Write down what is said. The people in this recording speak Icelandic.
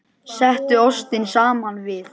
Settu ostinn saman við.